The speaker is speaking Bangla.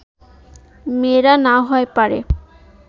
মেয়েরা না হয় পারে